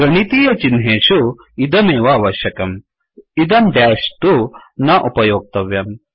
गणितीयचिह्नेषु इदमेव अवश्यकम् इदं डेश् तु न उपयोक्तव्यम्